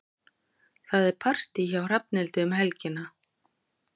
Það er partí hjá Hrafnhildi um helgina.